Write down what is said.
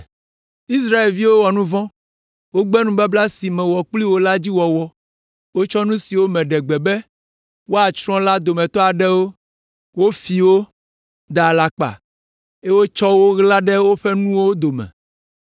Israelviwo wɔ nu vɔ̃, wogbe nubabla si mewɔ kpli wo la dzi wɔwɔ. Wotsɔ nu siwo meɖe gbe be woatsrɔ̃ la dometɔ aɖewo, wofi wo, da alakpa, eye wotsɔ wo ɣla ɖe woƒe nuwo dome.